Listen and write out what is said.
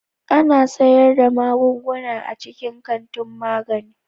Ana sayar da magunguna a cikin kantin magani.